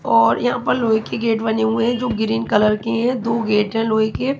और यहां पर लोहे के गेट बने हुए हैं जो ग्रीन कलर की है दो गेट है लोहे के।